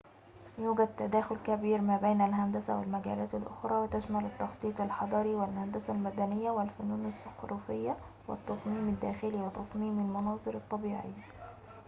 يوجد تداخل كبير ما بين الهندسة والمجالات الأخرى وتشمل التخطيط الحضري والهندسة المدنية والفنون الزخرفية والتصميم الداخلي وتصميم المناظر الطبيعية